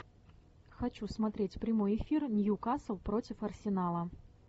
хочу смотреть прямой эфир ньюкасл против арсенала